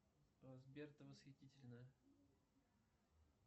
сбер ты восхитительная